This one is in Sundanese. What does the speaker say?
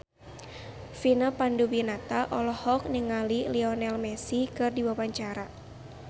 Vina Panduwinata olohok ningali Lionel Messi keur diwawancara